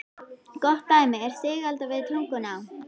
Gott dæmi er Sigalda við Tungnaá.